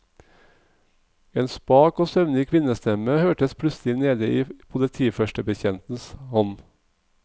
En spak og søvnig kvinnestemme hørtes plutselig nede i politiførstebetjentens hånd.